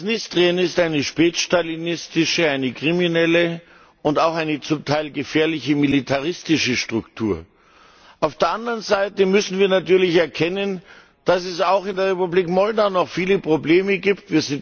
Transnistrien ist eine spätstalinistische, eine kriminelle und auch eine zum Teil gefährliche militaristische Struktur. Auf der anderen Seite müssen wir natürlich erkennen, dass es auch in der Republik Moldau noch viele Probleme gibt.